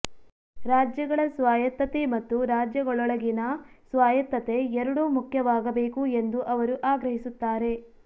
ರಾಜ್ಯಗಳ ಸ್ವಾಯತ್ತತೆ ಮತ್ತು ರಾಜ್ಯಗಳೊಳಗಿನ ಸ್ವಾಯತ್ತತೆ ಎರಡೂ ಮುಖ್ಯವಾಗಬೇಕು ಎಂದು ಅವರು ಆಗ್ರಹಿಸುತ್ತಾರೆ